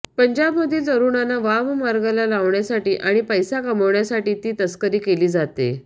पंजाबमधील तरूणांना वाममार्गाला लावण्यासाठी आणि पैसा कमावण्यासाठी ती तस्करी केली जाते